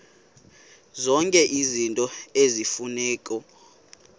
zonke izinto eziyimfuneko